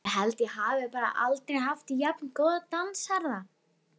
Ég held ég hafi bara aldrei haft jafn góðan dansherra!